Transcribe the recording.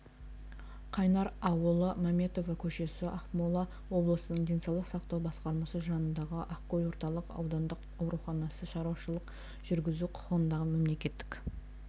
қайнар аулы мәметова көшесі ақмола облысының денсаулық сақтау басқармасы жанындағы ақкөл орталық аудандық ауруханасы шаруашылық жүргізу құқығындағы мемлекеттік